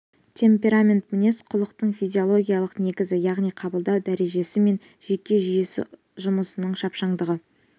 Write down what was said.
темперамент мінез-құлықтың физиологиялық негізі яғни қабылдау дәрежесі мен жүйке жүйесі жұмысының шапшаңдығы